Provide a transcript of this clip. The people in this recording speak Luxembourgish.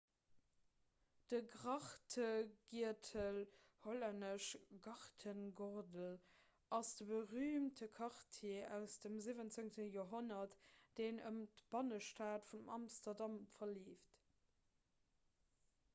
de grachtegiertel hollännesch: grachtengordel ass de berüümte quartier aus dem 17. joerhonnert deen ëm d'bannestad vun amsterdam verleeft